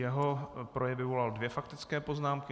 Jeho projev vyvolal dvě faktické poznámky.